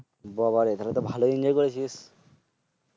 বাবারে তাইলেতো ভালোই Enjoy করেছিস।